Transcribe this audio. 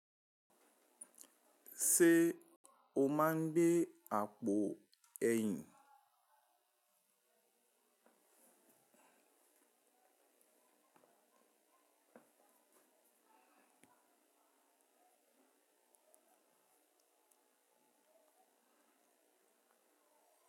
Ṣé o máa ń gbé àpò ẹ̀yìn?